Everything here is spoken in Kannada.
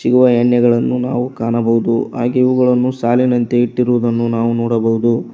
ಇವಾ ಎಣ್ಣೆಗಳನ್ನು ನಾವು ಕಾಣಬಹುದು ಹಾಗೆ ಇವುಗಳನ್ನು ಸಾಲಿನಂತೆ ಇಟ್ಟಿರುವುದ್ದನ್ನು ನಾವು ನೋಡಬೌದು.